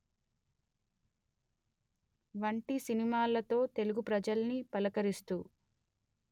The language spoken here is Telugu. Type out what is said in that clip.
వంటి సినిమాలతో తెలుగు ప్రజల్ని పలకరిస్తూ